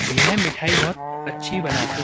यह मिठाई बहोत अच्छी बनाते --